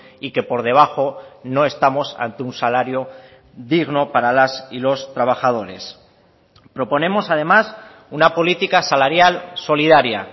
y que por debajo no estamos ante un salario digno para las y los trabajadores proponemos además una política salarial solidaria